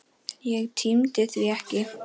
Ég tímdi því ekki.